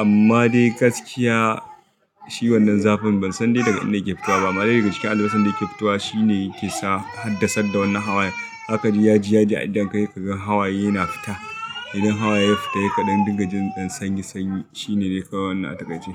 Amma dai gaskiya shi wannan zafin ban san dai daga inda yake fitowa ba. Amma dai daga cikin albasan da yake fitowa shine yake sa, haddasadda wannan hawayen. Zaka ji ya ji a idon ka idan ka hey ka gan hawaye na fita. Idan hawaye ya fita, Hey ka ɗan dinga jin ɗan sanyi sanyi. Shi ne dai kawai wannan a takaice.